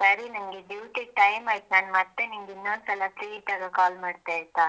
ಸರಿ ನಂಗೆ duty time ಆಯಿತು ಮತ್ತೆ ನಿನ್ಗೆ ಇನ್ನೊಂದ್ಸಲ free ಇದ್ದಾಗ call ಮಾಡ್ತೇ ಆಯ್ತಾ.